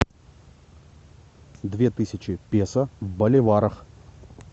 две тысячи песо в боливарах